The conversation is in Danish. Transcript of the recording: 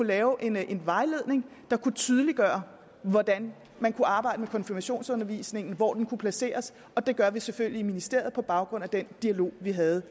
lave en vejledning der tydeliggør hvordan man kan arbejde med konfirmationsundervisningen hvor den kan placeres det gør vi selvfølgelig i ministeriet på baggrund af den dialog vi havde